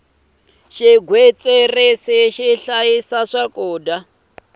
xigwitsirisi xi hlayisa swakudya